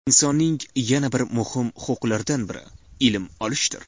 Insonning yana bir muhim huquqlaridan biri ilm olishdir.